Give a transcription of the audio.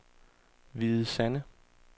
Hvide Sande